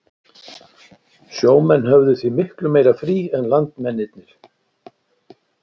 Sjó menn höfðu því miklu meira frí en landmennirnir.